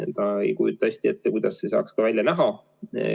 Ma ei kujuta ka hästi ette, kuidas see saaks välja näha.